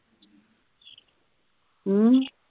ਹੂ